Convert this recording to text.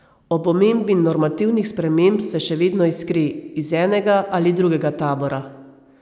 Ob omembi normativnih sprememb se še vedno iskri, iz enega ali drugega tabora.